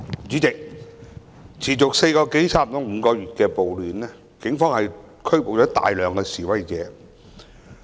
主席，持續接近5個月的暴亂，警方拘捕了大量示威者。